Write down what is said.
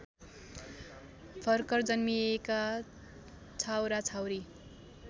भर्खर जन्मिएका छाउराछाउरी